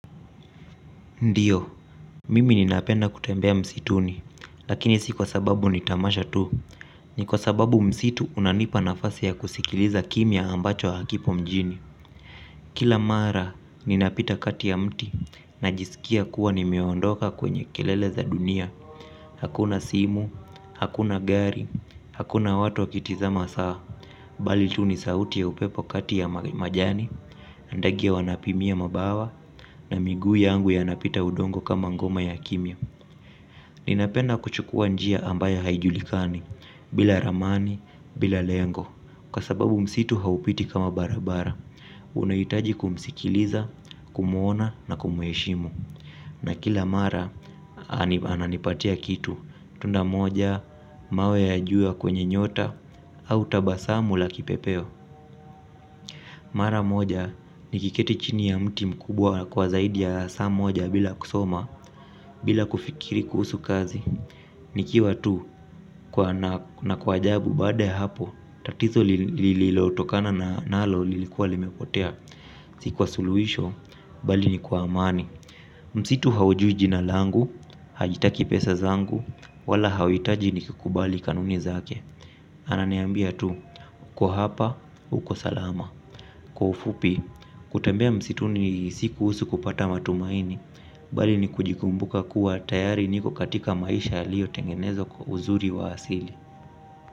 Ndiyo, mimi ninapenda kutembea msituni, lakini si kwa sababu ni tamasha tu, ni kwa sababu msitu unanipa nafasi ya kusikiliza kimya ambacho hakipo mjini. Kila mara ninapita kati ya mti najisikia kuwa nimeondoka kwenye kelele za dunia. Hakuna simu, hakuna gari, hakuna watu wakitizama saa. Bali tu ni sauti ya upepo kati ya majani, na ndege wanapimia mabawa. Na miguu yangu yanapita udongo kama ngoma ya kimya. Ninapenda kuchukua njia ambayo haijulikani, bila ramani, bila lengo. Kwa sababu msitu haupiti kama barabara unahitaji kumsikiliza kumwona na kumheshimu na kila mara ananipatia kitu tunda moja mawe ya juu ya kwenye nyota. Au tabasamu la kipepeo. Mara moja, nikiketi chini ya mti mkubwa kwa zaidi ya saa moja bila kusoma. Bila kufikiri kuhusu kazi nikiwa tu na kwa ajabu baada ya hapo tatizo lililotokana na nalo lilikuwa limepotea. Si kwa suluhisho, bali ni kwa amani msitu haujui jina langu haitaki pesa zangu wala hauhitaji nikikubali kanuni zake ananiambia tu uko hapa uko salama. Kwa ufupi, kutembea msituni si kuhusu kupata matumaini. Bali ni kujikumbuka kuwa tayari niko katika maisha yaliyotengenezwa kwa uzuri wa asili.